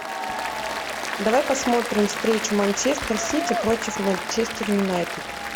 давай посмотрим встречу манчестер сити против манчестер юнайтед